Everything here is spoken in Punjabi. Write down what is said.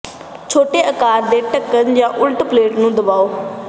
ਛੋਟੇ ਆਕਾਰ ਦੇ ਢੱਕਣ ਜਾਂ ਉਲਟ ਪਲੇਟ ਨੂੰ ਦਬਾਓ